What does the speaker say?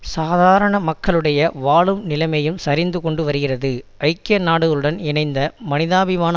சாதாரண மக்களுடைய வாழும் நிலைமையும் சரிந்து கொண்டு வருகிறது ஐக்கிய நாடுகளுடன் இணைந்த மனிதாபிமான